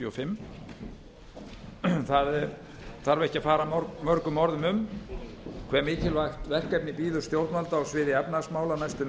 og fimm það þarf ekki að fara mörgum orðum um hve mikilvægt verkefni bíður stjórnvalda á sviði efnahagsmála næstu